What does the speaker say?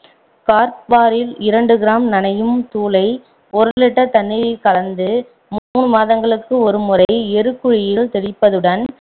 கார்பாரில் இரண்டு gram நனையும் தூளை ஒரு litre தண்ணீரில் கலந்து மூணு மாதங்களுக்கு ஒரு முறை எருக்குழியில் தெளிப்பதுடன்